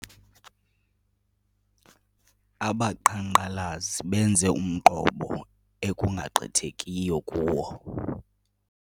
Abaqhankqalazi benze umqobo ekungagqithekiyo kuwo.